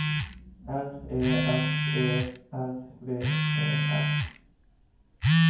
R E S E R V E R